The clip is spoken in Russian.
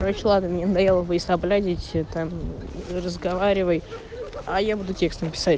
короче ладно мне надоело войсоблядить там разговаривай а я буду текстом писать